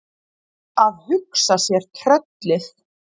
Að hugsa sér tröllið!